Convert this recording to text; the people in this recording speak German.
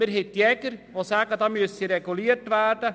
Es gibt Jäger, die sagen, es müsse reguliert werden.